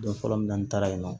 Don fɔlɔ min na n taara yen nɔ